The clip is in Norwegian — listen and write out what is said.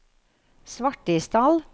Svartisdal